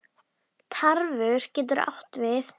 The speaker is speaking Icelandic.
Tarfur getur átt við